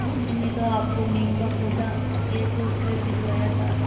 मैंने तो आपको नीम का पौधा यह सोचकर भिजवाया था